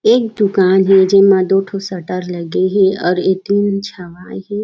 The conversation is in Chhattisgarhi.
एक दुकान हे जेमा दो ठो शटर लगे हे और एक टीन छबाय हे।